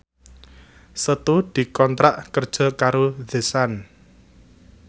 Setu dikontrak kerja karo The Sun